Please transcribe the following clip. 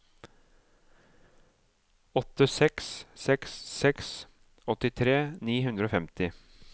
åtte seks seks seks åttitre ni hundre og femti